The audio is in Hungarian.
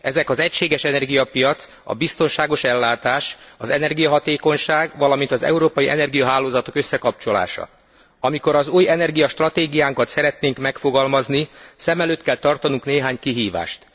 Ezek az egységes energiapiac, a biztonságos ellátás, az energiahatékonyság, valamint az európai energiahálózatok összekapcsolása. Amikor az új energiastratégiánkat szeretnénk megfogalmazni, szem előtt kell tartanunk néhány kihívást.